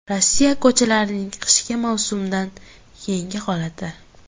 Rossiya ko‘chalarining qishki mavsumdan keyingi holati .